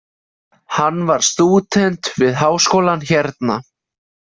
Hann var stúdent við Háskólann hérna.